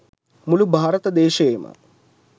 මුළු භාරත දේශයේ ම